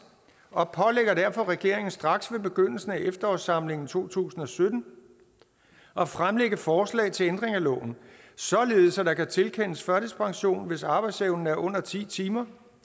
og pålægger derfor regeringen straks ved begyndelsen af efterårssamlingen to tusind og sytten at fremlægge forslag til ændring af loven således at der kan tilkendes førtidspension hvis arbejdsevnen er under ti timer